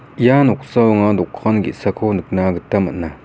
ia noksao anga dokan ge·sako nikna gita man·a.